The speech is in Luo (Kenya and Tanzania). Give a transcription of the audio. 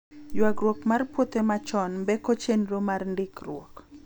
ywaruok mar puothe machon mbeko chenro mar ndikruok